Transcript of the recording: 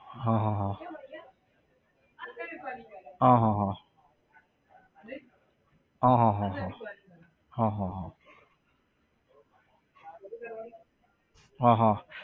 હા હા હા હા હા હા હા હા હા હા હા હા હા હા હા